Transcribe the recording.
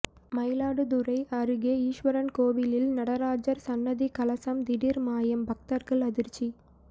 மயிலாடுதுறை அருகே ஈஸ்வரன் கோயிலில் நடராஜர் சன்னதி கலசம் திடீர் மாயம் பக்தர்கள் அதிர்ச்சி